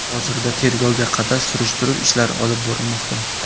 Hozirda tergovga qadar surishtiruv ishlari olib borilmoqda.